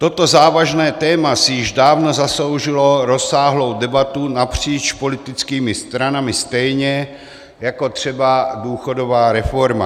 Toto závažné téma si již dávno zasloužilo rozsáhlou debatu napříč politickými stranami stejně jako třeba důchodová reforma.